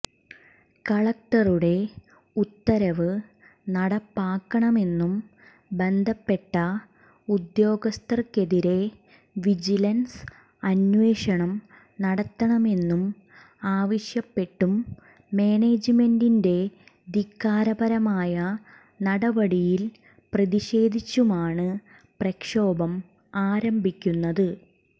കലക്ടറുടെ ഉത്തരവ് നടപ്പാക്കണമെന്നും ബന്ധപ്പെട്ട ഉദ്യോഗസ്ഥർക്കെതിരെ വിജിലൻസ് അന്വേഷണം നടത്തണമെന്നും ആവശ്യപ്പെട്ടും മാനേജ്മെന്റിന്റെ ധിക്കാരപരമായ നടപടിയിൽ പ്രതിഷേധിച്ചുമാണ് പ്രക്ഷോഭം ആരംഭിക്കുന്നത്